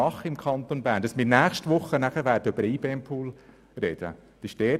Es bereitet mir Sorgen, dass wir nächste Woche über den IBEM-Pool sprechen werden.